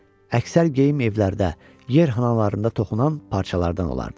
Əksər geyim evlərdə, yer xanalarında toxunan parçalardan olardı.